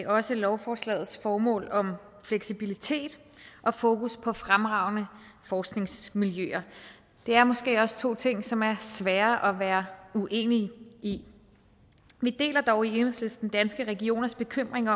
også lovforslagets formål om fleksibilitet og fokus på fremragende forskningsmiljøer det er måske også to ting som er svære at være uenig i vi deler dog i enhedslisten danske regioners bekymring